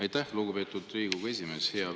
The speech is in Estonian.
Aitäh, lugupeetud Riigikogu esimees!